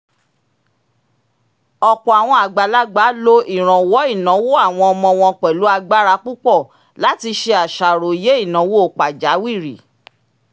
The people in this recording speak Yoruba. ọ̀pọ̀ àwọn àgbàlagbà lo ìrànwọ́ ináwó àwọn ọmọ wọn pẹ̀lú agbára púpọ̀ láti ṣe àṣàròyé ináwó pàjáwìrì